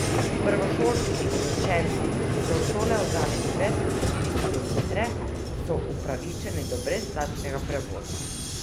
Prvošolčki in učenci, ki so od šole oddaljeni več kot štiri kilometre, so upravičeni do brezplačnega prevoza.